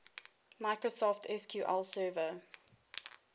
microsoft sql server